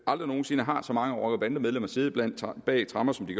aldrig nogen sinde har så mange rocker bande medlemmer siddet bag tremmer som det